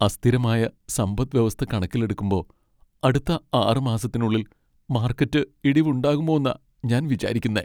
അസ്ഥിരമായ സമ്പദ് വ്യവസ്ഥ കണക്കിലെടുക്കുമ്പോ അടുത്ത ആറ് മാസത്തിനുള്ളിൽ മാർക്കറ്റ് ഇടിവ് ഉണ്ടകുമോന്നാ ഞാൻ വിചാരിക്കുന്നെ.